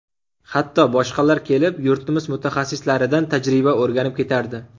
Hatto boshqalar kelib, yurtimiz mutaxassislaridan tajriba o‘rganib ketardi.